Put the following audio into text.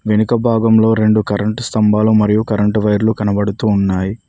వెనుకభాగంలో రెండు కరెంట్ స్తంభాలు మరియు కరెంట్ వైర్లు కనబడుతూ ఉన్నాయి.